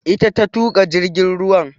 Ita ta tuƙa jirgin ruwan